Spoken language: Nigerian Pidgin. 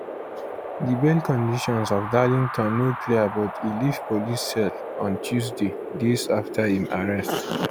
di bail conditions of darlington no clear but e leave police cell on tuesday days afta im arrest